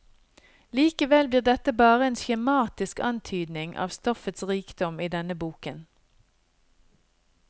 Likevel blir dette bare en skjematisk antydning av stoffets rikdom i denne boken.